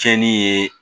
Tiɲɛni ye